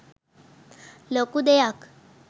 ලොකු දෙයක්